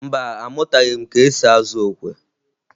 Mba, amụtaghị m ka esi azụ okwe